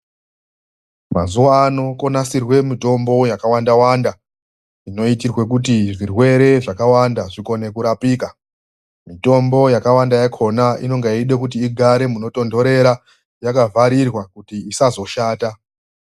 Mazuwano kwonasirwe mitombo yakawanda-wanda, inoitirwe kuti zvirwere zvakawanda zvikone kurapika. Mitombo yakawanda yakhona inonga yeida kuti igare munotonhorera yakavharirwa kuti isazoshata.